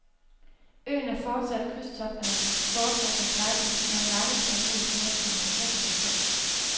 Øen er fortsat krydstogternes foretrukne paradis med en markedsandel på næsten halvtreds procent.